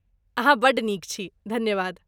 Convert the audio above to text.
अहाँ बड्ड नीक छी! धन्यवाद!